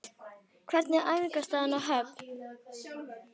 Hvernig er æfingaaðstaðan á Höfn?